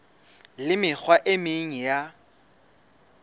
le mekgwa e meng ya